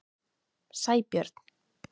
Sæbjörn